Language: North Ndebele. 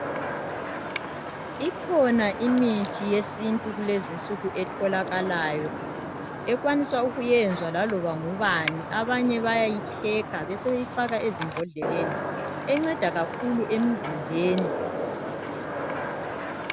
Ikhona imithi yesintu kulezinsuku etholakalayo ekwanisa ukuyenzwa laloba ngubani, abanye bayayipheka babesebeyifaka ezimbodleleni enceda kakhulu emizimbeni